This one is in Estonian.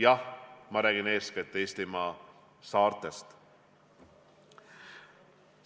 Jah, ma räägin eeskätt Eestimaa saartest.